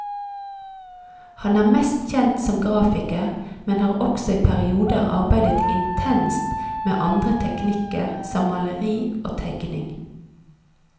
Han er mest kjent som grafiker, men har også i perioder arbeidet intenst med andre teknikker som maleri og tegning.